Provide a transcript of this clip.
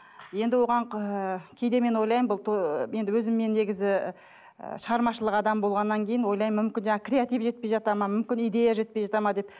енді оған кейде мен ойлаймын бұл ыыы өзім мен негізі ы шығармашылық адам болғаннан кейін ойлаймын мүмкін жаңа креатив жетпей жатады мүмкін идея жетпей жатады ма деп